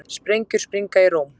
Sprengjur springa í Róm